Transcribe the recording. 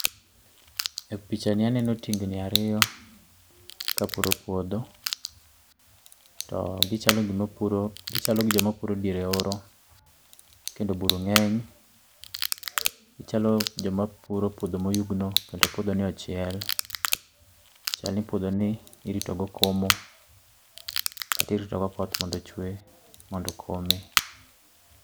e picha ni aneno tingni ariyo kapuro puodho, togichalo jomapuro diere ooro kendo buru ngeny, gichalo jomapuro puodho moyugno kendo puodho ni ochiel, chalni puodho ni irito go komo kata irito go koth mondo ochue, mondo okome